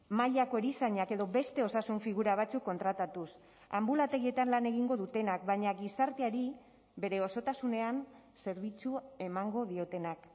mailako erizainak edo beste osasun figura batzuk kontratatuz anbulategietan lan egingo dutenak baina gizarteari bere osotasunean zerbitzu emango diotenak